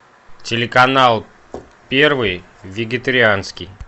телеканал первый вегетарианский